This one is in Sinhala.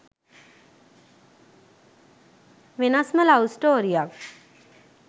වෙනස්ම ලව් ස්ටෝරියක්.